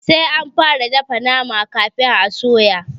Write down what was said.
Sai anfara dafa nama kafin a soya.